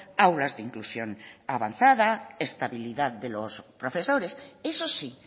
aulas de inclusión avanzada estabilidad de los profesores eso sí